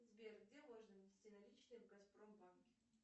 сбер где можно внести наличные в газпромбанке